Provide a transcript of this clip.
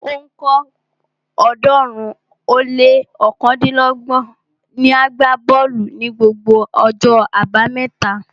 Ó ń kọ́ ọ̀ọ́dúnrún ó lé ọ̀kándínlọ́gbọ̀n niàgbá bọ́ọ̀lù ní gbogbo ọjọ́ abámẹ́ta